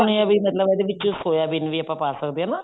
ਸੁਣੇ ਏ ਵੀ ਮਤਲਬ ਇਹਦੇ ਵਿੱਚ ਸੋਆਬੀਨ ਵੀ ਪਾ ਸਕਦੇ ਹਾਂ